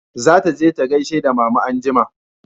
Za ta je ta gaishe da mama anjima